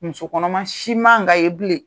Muso kɔnɔma si man kan ka ye bilen.